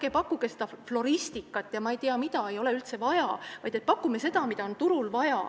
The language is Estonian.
Ärge pakkuge floristikat ja ma ei tea mida, seda ei ole üldse vaja, vaid pakkuge seda, mida on turul vaja.